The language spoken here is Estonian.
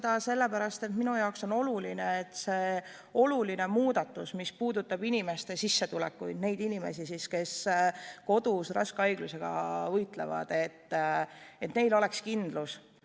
Tegin nii sellepärast, et minu jaoks on oluline, et see oluline muudatus, mis puudutab inimeste sissetulekuid, nende inimeste sissetulekuid, kes kodus raske haigusega võitlevad.